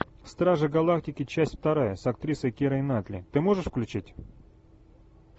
стражи галактики часть вторая с актрисой кирой найтли ты можешь включить